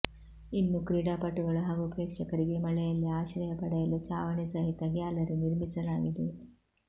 ಇನ್ನು ಕ್ರೀಡಾಪಟುಗಳು ಹಾಗೂ ಪ್ರೇಕ್ಷಕರಿಗೆ ಮಳೆಯಲ್ಲಿ ಆಶ್ರಯ ಪಡೆಯಲು ಚಾವಣಿ ಸಹಿತ ಗ್ಯಾಲರಿ ನಿರ್ಮಿಸಲಾಗಿದೆ